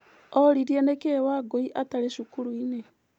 Oririe nĩkĩĩ Wangũi atarĩ cukuru-inĩ.